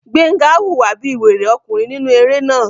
Gbénga hùwà bí wèrè ọkùnrin nínú eré náà